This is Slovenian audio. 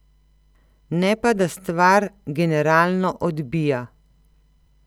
Ne pa da stvar generalno odbija.